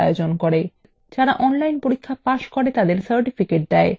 যারা online পরীক্ষা pass করে তাদের certificates দেয়